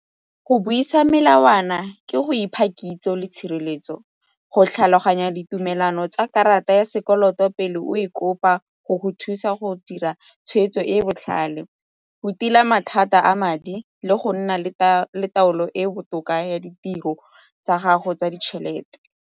Go buisa melawana ke go ipha kitso le tshireletso, go tlhaloganya ditumelano tsa karata ya sekoloto pele o e kopa go go thusa go dira tshweetso e e botlhale, go tila mathata a madi le go nna le taolo e e botoka ya ditiro tsa gago tsa ditšhelete.